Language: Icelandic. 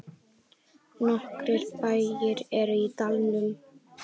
Nokkrir bæir eru í dalnum.